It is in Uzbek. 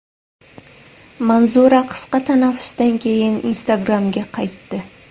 Manzura qisqa tanaffusdan keyin Instagram’ga qaytdi.